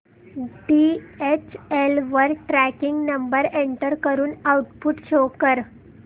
DHL वर tracking number enter करून output show कर